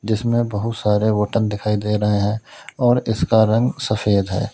इसमें बहुत सारे बटन दिखाई दे रहे हैं और इसका रंग सफेद है।